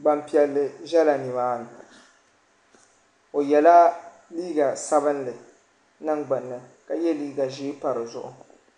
gbaŋ' piɛlli ʒela nima ni o yela liiga sabinli niŋ gbuuni ka ye liiga ʒee pa di zuɣu .